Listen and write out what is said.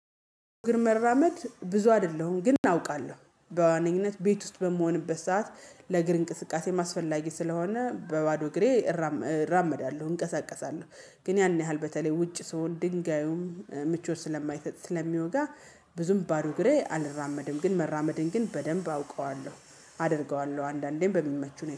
እግር መራመድ ብዙ አይደለሁም ግን አውቃለሁ በዋነኝነት ቤት ውስጥ በምሆንበት ሰዓት ለእግር እንቅስቃሴ አስፈላጊ ስለሆነ በባዶ እግሬ እራመዳለሁ እንቀሳቀሳለሁ። ግን ያን ያህል በተለይ ውጭ ስሆን ድንጋዩም ምቾት ስለማይሰጥ ስለሚወጋ ብዙም ባዶ እግሬ አልራመድም ግን መራመድን ግን በደንብ አውቀዋለሁ። አደርገዋለሁ አንዳንዴም በሚመች